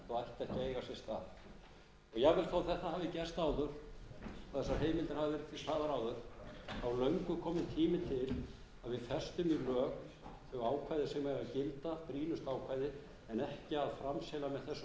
að við festum í lög þau ákvæði sem eiga að gilda skýlaust ákvæði en ekki að framselja með þessum opna hætti til framkvæmdarvaldsins ákvörðunartöku sem er á valdsviði